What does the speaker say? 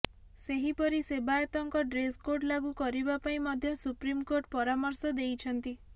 ସେହିପରି ସେବାୟତଙ୍କ ଡ୍ରେସକୋଡ ଲାଗୁ କରିବା ପାଇଁ ମଧ୍ୟ ସୁପ୍ରିମକୋର୍ଟ ପରାମର୍ଶ ଦେଇଛନ୍ତି